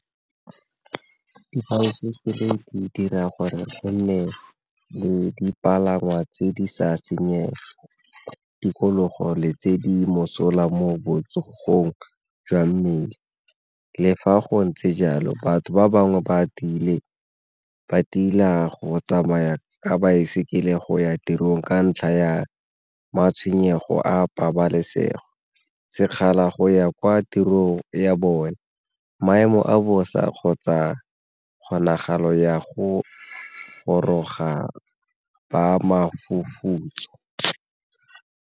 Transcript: Ke dira gore go nne le dipalangwa tse di sa senyeng di tikologo le tse di mosola mo botsogong jwa mmele, le fa go ntse jalo batho ba bangwe ba tila go tsamaya ka baesekele go ya tirong ka ntlha ya matshwenyego a pabalesego, sekgala go ya kwa tirong ya bone, maemo a bosa kgotsa kgonagalo ya go goroga mofufutso.